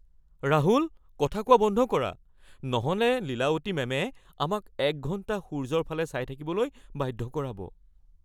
ৰাহুল! কথা কোৱা বন্ধ কৰা, নহ'লে লীলাৱতী মেমে আমাক ১ ঘণ্টা সূৰ্য্যৰ ফালে চাই থাকিবলৈ বাধ্য কৰাব।